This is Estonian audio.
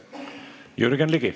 Jürgen Ligi.